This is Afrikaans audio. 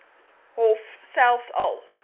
hof selfs al